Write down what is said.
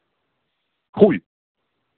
хуй